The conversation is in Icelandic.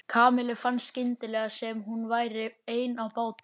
Kamillu fannst skyndilega sem hún væri ein á báti.